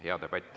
Hea debatt.